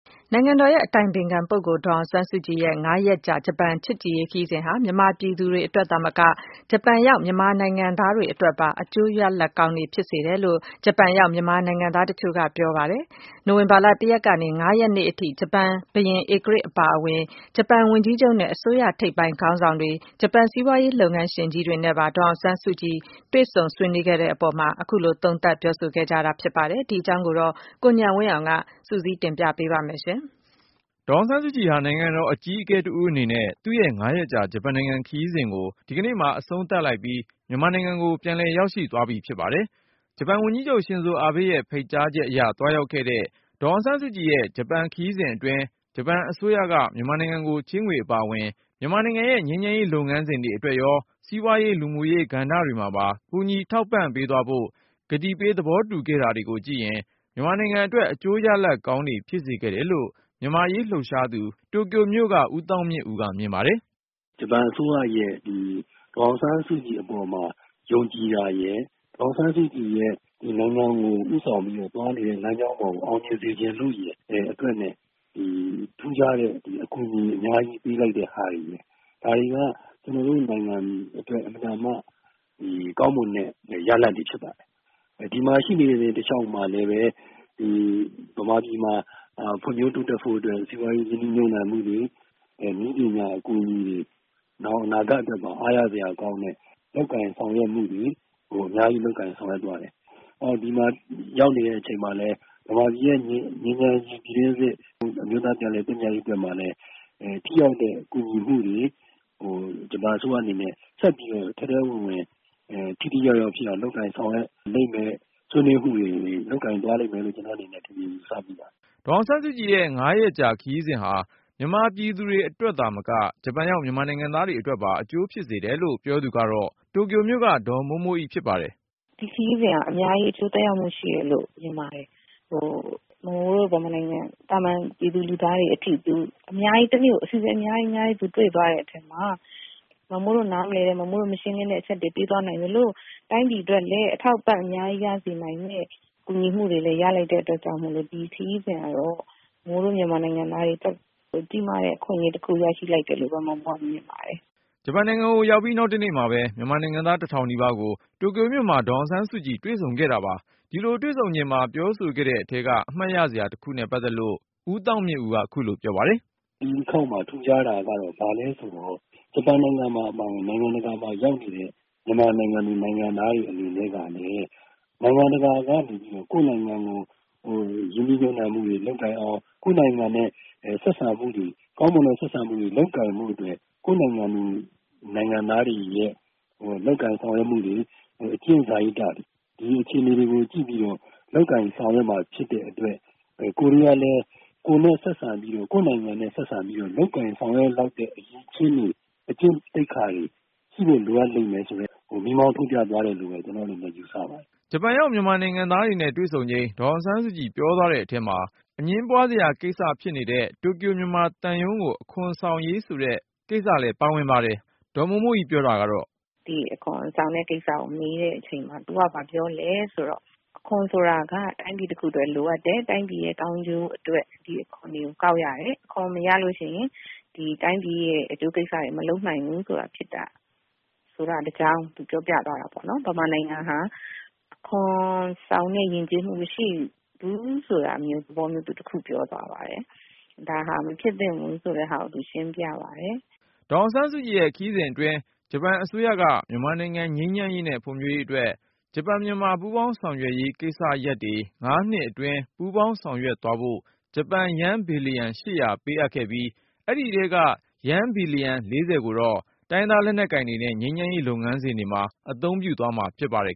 နိုင်ငံတော်အတိုင်ပင်ခံပုဂ္ဂိုလ် ဒေါ်အောင်ဆန်းစုကြည်ရဲ့ ၅ ရက်ကြာ ဂျပန်နိုင်ငံ ချစ်ကြည်ရေးခရီးစဉ်ဟာ မြန်မာပြည်သူတွေအတွက်သာမက ဂျပန်ရောက် မြန်မာနိုင်ငံသားတွေ အတွက်ပါ အကျိုးရလဒ်ကောင်းတွေ ဖြစ်စေခဲ့တယ်လို့ ဂျပန်ရောက် မြန်မာနိုင်ငံသား တချို့က ပြောဆို ပါတယ်။ နိုဝင်ဘာ ၁ ရက်ကနေ ၅ ရက်နေ့ထိ ဂျပန်ဘုရင်ဧကရာဇ် အပါအဝင်၊ ဂျပန်ဝန်ကြီးချုပ်နဲ့ အစိုးရထိပ်ပိုင်းခေါင်းဆောင်တွေ ၊ ဂျပန် စီးပွားရေးလုပ်ငန်းရှင်ကြီးတွေနဲ့ပါ ဒေါ်အောင်ဆန်းစုကြည် တွေ့ဆုံ ဆွေးနွေးခဲ့တဲ့အပေါ် သုံးသပ်ပြောဆိုလိုက်ကြတာပါ။ ဒီအကြောင်းကိုတော့ ကိုဉာဏ်ဝင်းအောင်က တင်ပြမှာ ဖြစ်ပါတယ်။ ဒေါ်အောင်ဆန်းစုကြည်ဟာ နိုင်ငံတော်အကြီးအကဲတဦးအနေနဲ့ သူ့ရဲ့ ၅ ရက်ကြာ ဂျပန်နိုင်ငံချစ်ကြည်ရေး ခရီးစဉ်ကို ဒီကနေ့မှာ အဆုံးသတ် လိုက်ပြီး မြန်မာနိုင်ငံကို ပြန်လည်ရောက်ရှိ သွားပြီဖြစ်ပါတယ်။ ဂျပန်ဝန်ကြီးချုပ် ရှင်ဇိုအာဘေးရဲ့ ဖိတ်ကြားချက်အရ သွားရောက်ခဲ့တဲ့ ဒေါ်အောင်ဆန်းစုကြည်ရဲ့ ဂျပန်ခရီးစဉ်အတွင်း ဂျပန်အစိုးရက မြန်မာနိုင်ငံကို ချေးငွေအပါအဝင် မြန်မာနိုင်ငံရဲ့ ငြိမ်းချမ်းရေးလုပ်ငန်းစဉ်တွေ အတွက်ရော၊ စီးပွားရေး လူမှုရေးကဏ္ဍတွေမှာပါ ကူညီထောက်ပံ့သွားဖို့ ကတိပေး သဘောတူခဲ့တာတွေကို ကြည့်ရင်၊ မြန်မာနိုင်ငံအတွက် အကျိုးရလဒ်ကောင်းတွေ ဖြစ်စေခဲ့တယ်လို့ မြန်မာ့အရေးလှုပ်ရှားသူ တိုကျိုမြို့က ဦးသောင်းမြင့်ဦးက မြင်ပါတယ်။ “ ဂျပန်အစိုးရက ဒေါ်အောင်ဆန်းစုကြည်အပေါ် ယုံကြည်တာရယ်၊ ဒေါ်အောင်ဆန်းစုကြည်က နိုင်ငံတော်ကို ဦးဆောင်ပြီးတော့ သွားနေတဲ့ လမ်းကြောင်းကို အောင်မြင်စေချင်လို့ရယ် အတွက်.. အခုလို ထူးခြားစွာ အကူအညီတွေ ပေးလိုက်တာပဲ။ ဒါတွေက ကျနော်တို့ နိုင်ငံအတွက် ကောင်းမွန်တဲ့ ရလဒ်တွေဖြစ်ပါတယ်။ ဒီမှာ သူရှိနေတဲ့ တလျှောက်မှာလည်းပဲ မြန်မာပြည်မှာ ဖွံ့ဖြိုးတိုးတက်ဖို့အတွက် စီးပွားရေး ရင်းနှီးမြှုပ်နှံ မှုတွေ နည်းပညာအကူအညီတွေ နောင်အနာဂတ်အတွက် အားရစရာကောင်းတာတွေ အများကြီးလုပ်ဆောင်သွားတယ်။ မြန်မာပြည်ရဲ့ ပြည်တွင်း စစ် ငြိမ်းချမ်းရေး၊ အမျိုးသား ပြန်လည်သင့်မြတ်ရေးအတွက်မှာလည်း ထိရောက်တဲ့ ကူညီမှုတွေကို ဂျပန်အစိုးရအနေနဲ့ ဆက်ပြီးတော့ ထဲထဲဝင်ဝင် ထိထိရောက်ရောက် ဖြစ်အောင် လုပ်ကိုင်ဆောင်ရွက်လိမ့်မယ် ဆွေးနွေးမှုတွေ လုပ်သွားလိမ့်မယ်လို့ ကျနော် မြင်မိပါတယ်” ဒေါ်အောင်ဆန်းစုကြည်ရဲ့ ၅ ရက်ကြာ ခရီးစဉ်ဟာ မြန်မာပြည်သူတွေအတွက်သာမက ဂျပန်ရောက် မြန်မာနိုင်ငံသားတွေ အတွက်ပါ အကျိုး ဖြစ်စေတယ်လို့ ပြောသူကတော့ တိုကျိုမြို့က ဒေါ်မိုးမိုးအိဖြစ်ပါတယ်။ “ဒီခရီးစဉ်ဟာ အများကြီး အကျိုးသက်ရောက်မှု ရှိတယ်လို့ မြင်ပါတယ်။ မမိုးတို့ မြန်မာနိုင်ငံ သာမန်ပြည်သူ ပြည်သားတွေအထိ တနေ့ကို သူ အစီအစဉ် အများကြီးတွေ့သွားတဲ့ အထဲမှာ ကိုယ်နားမလည်တဲ့ မရှင်းလင်းတဲ့ အချက်တွေ ရှင်းပြသွားနိုင်သလို၊ တိုင်းပြည်အတွက်လဲ အထောက်အပံ့ အများကြီးရစေနိုင်တဲ့ အကူအညီတွေလည်း ရလိုက်တဲ့ အတွက်ကြောင့်မို့ ဒီခရီးစဉ်ကတော့ မမိုးတို့ မြန်မာနိုင်ငံသားတွေ အတွက် ကြီးမားတဲ့ အခွင့်အရေးတခု ရလိုက်တယ်လို့ပဲ မြင်ပါတယ်” ဂျပန်နိုင်ငံကို ရောက်ပြီးနောက်တနေ့မှာပဲ မြန်မာနိုင်ငံသား တထောင်နီးပါးကို တိုကျိုမြို့မှာ ဒေါ်အောင်ဆန်းစုကြည်တွေ့ဆုံခဲ့တာပါ။ ဒီလိုတွေ့ ဆုံချိန် ပြောဆိုခဲ့တဲ့အထဲက အမှတ်ရစရာတခုနဲ့ ပတ်သက်ပြီး ဦးသောင်းမြင့်ဦးက ခုလိုပြောပါတယ်။ “ ဒီတခေါက်မှာ ထူးခြားတာ ဘာလဲဆိုတော့ ဂျပန်အပါအဝင် နိုင်ငံတကာမှာ ရောက်နေတဲ့ မြန်မာနိုင်ငံသူ နိုင်ငံသားတွေ အနေနဲ့ကလည်း နိုင်ငံတကာကနေ ကိုယ့်နိုင်ငံမှာ ရင်းနှီးမြှုပ်နှံမှုတွေ လုပ်လာအောင်၊ ကိုယ်နိုင်ငံနဲ့ ကောင်းမွန်တဲ့ ဆက်ဆံမှုတွေ လုပ်နိုင်ဖို့အတွက်ဆိုရင် ကိုယ့်နိုင်ငံသားတွေရဲ့ လုပ်ကိုင်ဆောင်ရွက်မှုတွေ၊ အကျင့်စာရိတ္တတွေ၊ ဒီအခြေအနေတွေကို ကြည့်ပြီးတော့ လုပ်ကိုင်ဆောင်ရွက်မှာ ဖြစ်တဲ့ အတွက် ကိုယ်တွေကလည်း ကိုယ့်နိုင်ငံနဲ့ ဆက်ဆံပြီးတော့ လုပ်ကိုင်ဆောင်ရွက်လောက်တဲ့ အရည်အချင်းတွေ အကျင့်သိက္ခာတွေ ရှိဖို့ လိုအပ်တယ် ဆိုတာကို မီးမောင်းထိုးပြသွားတယ် ” ဂျပန်ရောက် မြန်မာနိုင်ငံသားတွေနဲ့ တွေ့ဆုံချိန် ဒေါ်အောင်ဆန်းစုကြည်ပြောသွားတဲ့အထဲမှာ တိုကျိုမြန်မာသံရုံးကို အခွန်ဆောင်ဖို့ ဆိုတဲ့ကိစ္စ လည်း ပါဝင်ပါတယ်။ ဒေါ်မိုးမိုးအိ ပြောတာကတော့ - “ ဒီအခွန်ဆောင်တဲ့ကိစ္စကို မေးတဲ့အချိန်မှာ သူက ဘာပြောလဲဆိုတော့ - အခွန်ဆိုတာက တိုင်းပြည်တခုအတွက် လိုအပ်တယ်။ တိုင်းပြည်ရဲ့ ကောင်းကျိုးအတွက် ဒီအခွန်တွေကို ကောက်ရတယ်။ အခွန်မရလို့ရှိရင် ဒီတိုင်းပြည်ရဲ့ အကျိုးကိစ္စတွေ မလုပ်နိုင်ဘူးဆိုတာ သူပြောပြသွား တာပေါ့နော်။ မြန်မာနိုင်ငံဟာ အခွန်ဆောင်တဲ့ ယဉ်ကျေးမှု မရှိဘူးဆိုတဲ့သဘောမျိုး သူပြောသွားပါတယ်။ ဒါဟာ မဖြစ်သင့်ဘူးဆိုတာကို သူရှင်းပြပါတယ် ” ဒေါ်အောင်ဆန်းစုကြည် ခရီးစဉ်အတွင်း ဂျပန်အစိုးရက မြန်မာနိုင်ငံ ငြိမ်းချမ်းရေးနဲ့ ဖွံ့ဖြိုးရေးအတွက် ဂျပန်မြန်မာ ပူးပေါင်းဆောင်ရွက်ရေးကိစ္စ ရပ်တွေ ၅ နှစ်အတွင်းပူးပေါင်းဆောင်ရွက်သွားဖို့ ဂျပန်ယန်း ဘီလျံ ၈၀၀ ပေးခဲ့ပြီး၊ အဲဒီအထဲက ယန်း ဘီလျံ ၄၀ ကိုတော့ တိုင်းရင်းသား လက်နက်ကိုင်တွေနဲ့ ငြိမ်းချမ်းရေး လုပ်ငန်းစဉ်တွေမှာ အသုံးပြုသွားဖို့ ဖြစ်ပါတယ်